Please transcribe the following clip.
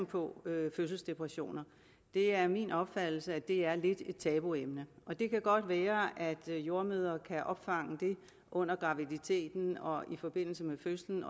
på fødselsdepressioner det er min opfattelse at det er lidt et tabuemne og det kan godt være at jordemødre kan opfange det under graviditeten og i forbindelse med fødslen